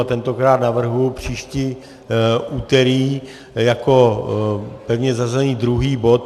A tentokrát navrhuji příští úterý jako pevně zařazený druhý bod.